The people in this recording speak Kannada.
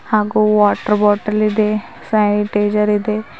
ಹಾಗೂ ವಾಟರ್ ಬಾಟಲ್ ಇದೆ ಸ್ಯಾನಿಟೈಸರ್ ಇದೆ.